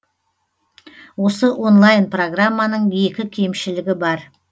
осы онлайн программаның екі кемшілігі бар